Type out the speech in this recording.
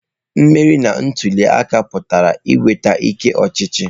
Mmeri na ntuli aka pụtara inweta ike ọchịchị.